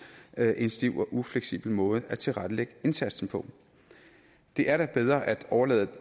være en stiv og ufleksibel måde at tilrettelægge indsatsen på det er da bedre at overlade det